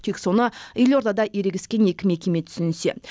тек соны елордада ерегескен екі мекеме түсінсе